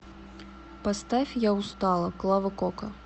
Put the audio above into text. поставь я устала клава кока